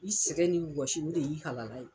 I sɛgɛn ni wasi o de y'i halala ye.